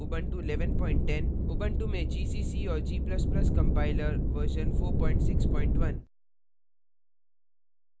ubuntu में gcc और g ++ compiler version 461